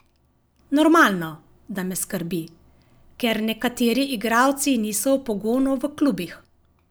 Normalno, da me skrbi, ker nekateri igralci niso v pogonu v klubih.